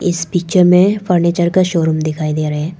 इस पिक्चर में फर्नीचर का शोरूम दिखाई दे रहे हैं।